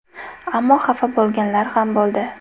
Ammo xafa bo‘lganlar ham bo‘ldi.